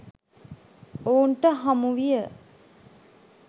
ඔවුන්ට හමුවිය